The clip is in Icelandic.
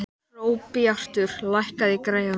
Hróbjartur, lækkaðu í græjunum.